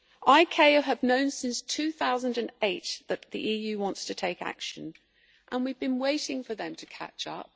ICAO have known since 2008 that the EU wants to take action and we have been waiting for them to catch up.